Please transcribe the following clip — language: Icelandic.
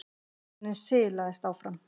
Vagninn silaðist áfram.